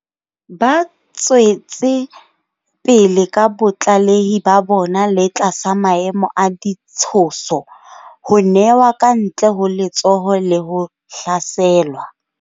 Ba tswetse pele ka botlalehi ba bona le tlasa maemo a ditshoso, ho newa kantle ho letsoho le ho hlaselwa.